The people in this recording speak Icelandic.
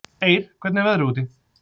Eir, hvernig er veðrið úti?